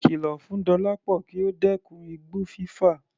Kìlọ̀ fún Dọlápọ kí ó dẹ́kun igbó fífà.